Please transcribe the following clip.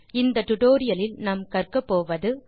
இந்த டுடோரியலின் முடிவில் உங்களால் செய்ய முடிவது